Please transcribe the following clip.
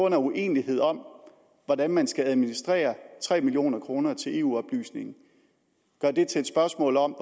en uenighed om hvordan man skal administrere tre million kroner til eu oplysning til et spørgsmål om